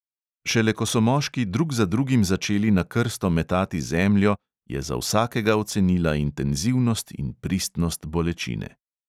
Šele ko so moški drug za drugim začeli na krsto metati zemljo, je za vsakega ocenila intenzivnost in pristnost bolečine.